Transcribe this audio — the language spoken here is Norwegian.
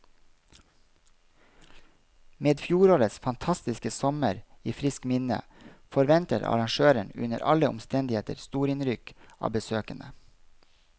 Med fjorårets fantastiske sommer i friskt minne, forventer arrangøren under alle omstendigheter storinnrykk av besøkende.